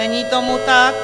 Není tomu tak.